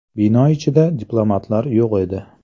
Bino ichida diplomatlar yo‘q edi.